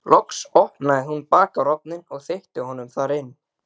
Loks opnaði hún bakarofninn og þeytti honum þar inn.